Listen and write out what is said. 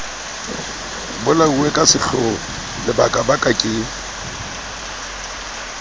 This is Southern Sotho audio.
bolauwe ka sehloho lebakabaka ke